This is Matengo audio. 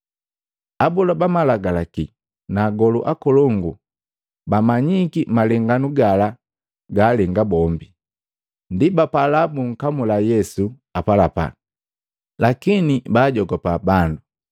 Abola ba malagalaki na agolu akolongu bamanyiki malenganu gala gaalenga bombi, ndi bapala bunkamula Yesu apalapala. Lakini baajogopa bandu.